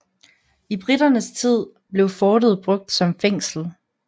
I briternes tid blev fortet brugt som fængsel